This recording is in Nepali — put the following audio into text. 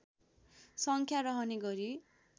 सङ्ख्या रहने गरी